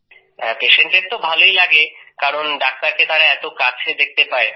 Patientএর ভালই লাগে কারণ ডাক্তারকে তারা এত কাছে দেখতে পায়